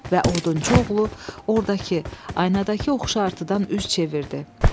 Və odunçu oğlu ordakı, aynadakı oxşartıdan üz çevirdi.